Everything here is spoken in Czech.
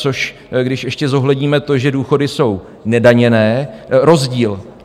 Což když ještě zohledníme to, že důchody jsou nedaněné, rozdíl...